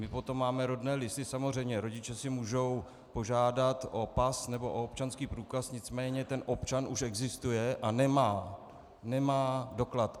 My potom máme rodné listy, samozřejmě, rodiče si mohou požádat o pas nebo o občanský průkaz, nicméně ten občan už existuje a nemá, nemá doklad.